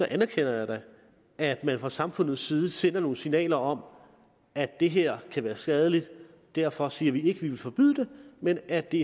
anerkender jeg da at man fra samfundets side sender nogle signaler om at det her kan være skadeligt derfor siger vi ikke at vi vil forbyde det men at det